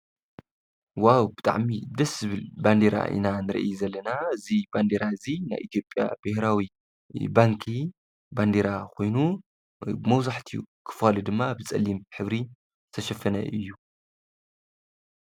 ዋው ብጣዕሚ ደስ ዝብል ባንዴራ ኢና ንሪኢ ዘለና። እዚ ባንዴራ እዙይ ናይ ኢትዮጵያ ብሄራዊ ባንኪ ባንዴራ ኮይኑ መብዛሕትኡ ክፋሉ ድማ ብፀሊም ሕብሪ ዝተሸፈነ እዩ።